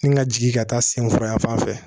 Ni n ka jigin ka taa senforo yanfan fɛ